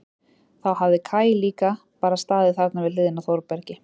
Þá hafi Kaj líka bara staðið þarna við hliðina á Þórbergi.